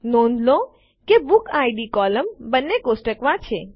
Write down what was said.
નોંધ લો કે બુકિડ કોલમ બંને કોષ્ટકોમાં છે